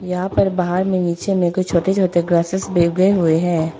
यहां पर बाहर में नीचे में छोटे छोटे ग्रासेस उगे हुए हैं।